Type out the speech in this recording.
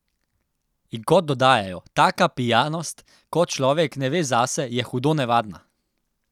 In kot dodajajo: "Taka pijanost, ko človek ne ve zase, je hudo nevarna.